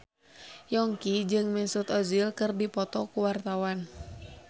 Yongki jeung Mesut Ozil keur dipoto ku wartawan